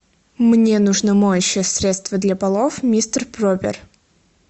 мне нужно моющее средство для полов мистер пропер